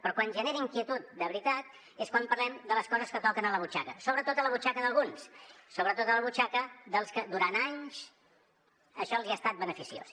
però quan genera inquietud de veritat és quan parlem de les coses que toquen la butxaca sobretot la butxaca d’alguns sobretot la butxaca dels que durant anys això els hi ha estat beneficiós